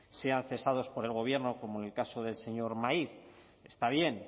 sean cesados por el gobierno como en el caso del señor maiz está bien